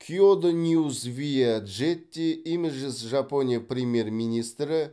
киодо ньюс виа джетти имеджес жапония премьер министрі